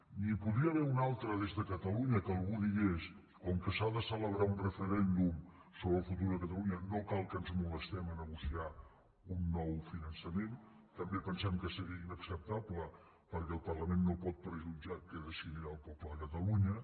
n’hi podria haver una altra des de catalunya que algú digués com que s’ha de celebrar un referèndum sobre el futur a catalunya no cal que ens molestem a negociar un nou finançament també pensem que seria inacceptable perquè el parlament no pot prejutjar què decidirà el poble de catalunya